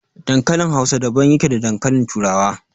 Dankalin Hausa daban yake da dankalin turawa.